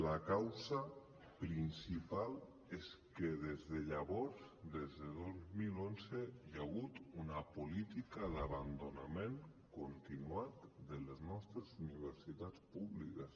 la causa principal és que des de llavors des de dos mil onze hi ha hagut una política d’abandonament continuat de les nostres universitats públiques